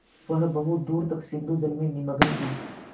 वह बहुत दूर तक सिंधुजल में निमग्न थी